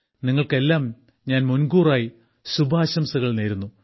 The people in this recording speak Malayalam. നിങ്ങൾക്കെല്ലാം ഞാൻ മുൻകൂറായി ശുഭാശംസകൾ നേരുന്നു